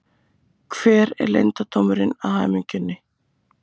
Hver er leyndardómurinn að hamingjunni